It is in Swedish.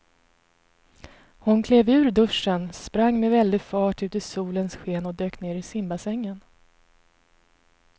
Hon klev ur duschen, sprang med väldig fart ut i solens sken och dök ner i simbassängen.